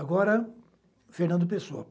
Agora, Fernando Pessoa.